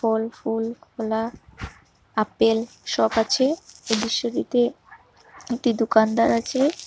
ফল ফুল কলা আপেল সব আছে এ দৃশ্যটিতে একটি দোকানদার আছে।